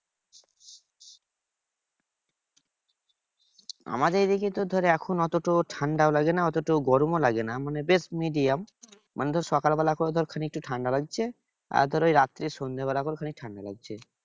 আমাদের এইদিকে তো ধরে এখন অত তো ঠান্ডাও লাগে না অথচ গরমও লাগে না। মানে বেশ medium. মানে ধর সকালবেলা করে ধর খালি একটু ঠান্ডা লাগছে। আর ধর ওই রাত্রে সন্ধ্যাবেলা করে খালি ঠান্ডা লাগছে।